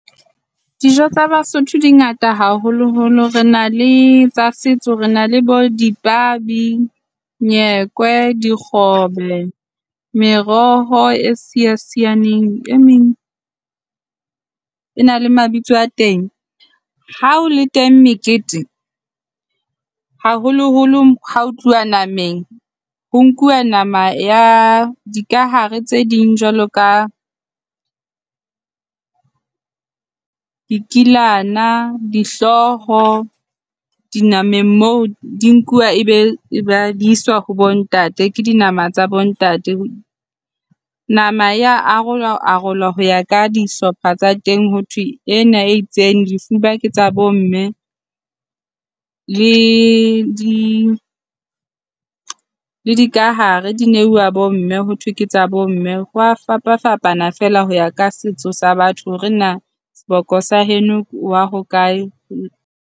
Dijo tsa baSotho di ngata haholoholo. Re na le tsa setso, re na le bo dipabi, nyekwe, dikgobe, meroho e siasianeng. E meng e na le mabitso a teng. Ha ho le teng mekete haholoholo ha ho tluwa nameng ho nkuwa nama ya dikahare tse ding jwalo ka dikilana, dihlooho dinameng moo. Di nkuwa e be e iswa ho bo ntate, ke dinama tsa bo ntate. Nama ya arolwa arolwa ho ya ka dihlopha tsa teng ho thwe ena e itseng, difuba ke tsa bomme le le dikahare di neuwa bo mme. Ho thwe ke tsa bo mme hwa fapafapana fela ho ya ka setso sa batho hore na seboko sa heno o wa ho kae.